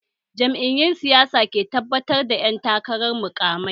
Jam'iyun siyasa ke gabatar da ƴan takarar muƙamai